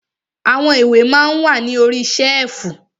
Àwọn ìwé ma ń wà ní orí ṣẹ́ẹ̀fù.